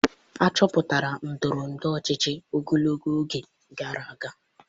Achọpụtara ndọrọ ndọrọ ọchịchị ogologo oge gara aga